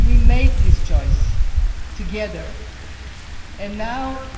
We made this choice together, and now